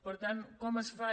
per tant com es fa